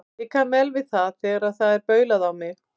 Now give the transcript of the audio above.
Ég kann vel við það þegar það er baulað á mig.